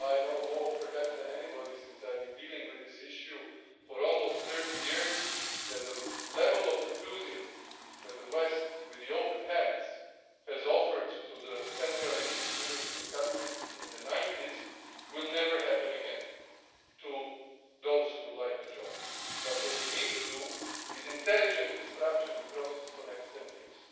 I know more perhaps than anybody, since I've been dealing with this issue for almost 30 years, that the level of enthusiasm that the West with open hands offered to the Central and Eastern European countries in the 90s will never happen again, to those who would like to join. But what we need to do, is intelligently to structure the process for the next ten years.